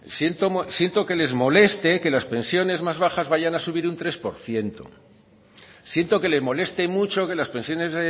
siento que les moleste que las pensiones más bajas vayan a subir un tres por ciento siento que le moleste mucho que las pensiones